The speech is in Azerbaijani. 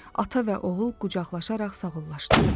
Ata və oğul qucaqlaşaraq sağollaşdılar.